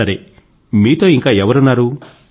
సరే మీతో ఇంకా ఎవరున్నారు